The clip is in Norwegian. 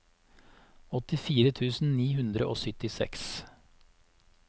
åttifire tusen ni hundre og syttiseks